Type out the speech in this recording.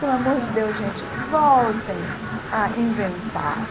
Pelo amor de Deus, gente, voltem a inventar!